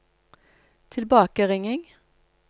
tilbakeringing